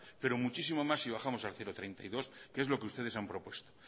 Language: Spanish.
pero muchísimo más si bajamos al cero coma treinta y dos que es lo que ustedes han propuesto